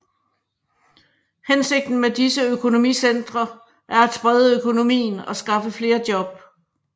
Hensigten med disse økonomicentre er at sprede økonomien og skaffe flere job